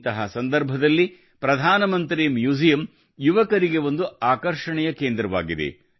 ಇಂತಹ ಸಂದರ್ಭದಲ್ಲಿ ಪ್ರಧಾನಮಂತ್ರಿ ಮ್ಯೂಸಿಯಂ ಯುವಕರಿಗೆ ಒಂದು ಆಕರ್ಷಣೆಯ ಕೇಂದ್ರವಾಗಿದೆ